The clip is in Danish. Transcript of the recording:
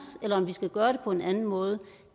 eller om vi skal gøre det på en anden måde